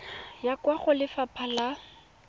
ya kwa go lefapha la